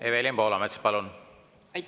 Evelin Poolamets, palun!